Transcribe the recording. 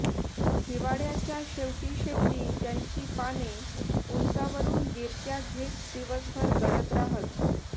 हिवाळयाच्या शेवटी शेवटी त्यांची पाने उंचावरून गिरक्या घेत दिवसभर गळत राहत